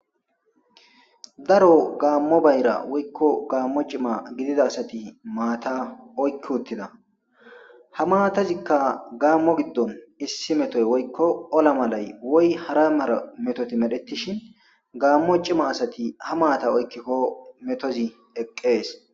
Daro gaammo bayra woykko gaammo cima gidida asati maata oykki uttida. Ha maatazikka gaammo giddon issi metoy woykko ola malay woy hara mara metoti medhettishin gaammo cima asati ha maata oykkikko metozi eqqees.